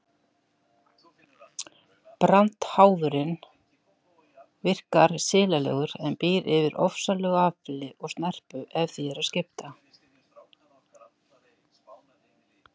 Brandháfurinn virkar silalegur en býr yfir ofsalegu afli og snerpu ef því er að skipa.